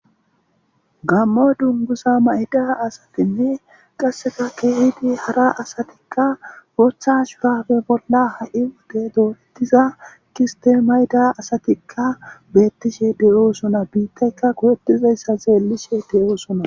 gammo dungusa mayida asatinne qasseka keehidi hara asatikka wotha shurafe bolla ha7i ude doorettiza kiste mayda asatikka beettishe deyoosona biittayka kowettizayssa zeellishe deyoosona